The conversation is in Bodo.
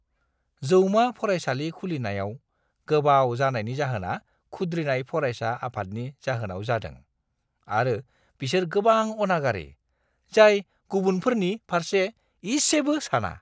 जौमा फरायसालि खुलिनायाव गोबाव जानायनि जाहोना खुद्रिनाय फरायसा आफादनि जाहोनाव जादों आरो बिसोर गोबां अनागारि, जाय गुबुनफोरनि फारसे इसेबो साना।